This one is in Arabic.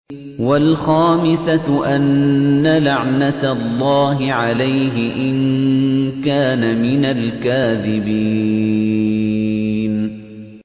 وَالْخَامِسَةُ أَنَّ لَعْنَتَ اللَّهِ عَلَيْهِ إِن كَانَ مِنَ الْكَاذِبِينَ